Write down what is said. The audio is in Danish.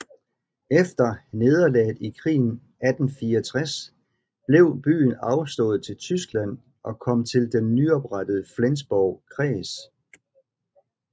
Efter nederlaget i krigen 1864 blev byen afstået til Tyskland og kom til den nyoprettede Flensborg kreds